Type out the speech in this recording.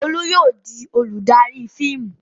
Olú yóò di olùdarí fíìmù!